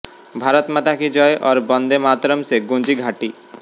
भारत माता की जय और वंदे मातरम् से गूंजी घाटी